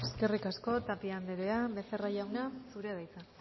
eskerrik asko tapia andrea becerra jauna zurea da hitza